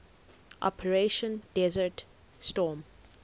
operation desert storm